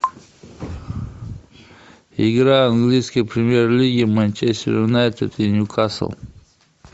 игра английской премьер лиги манчестер юнайтед и ньюкасл